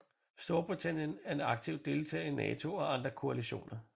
Storbritannien er en aktiv deltager i NATO og andre koalitioner